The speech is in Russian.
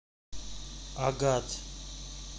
агат